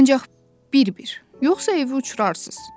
Ancaq bir-bir, yoxsa evi uçurarsınız.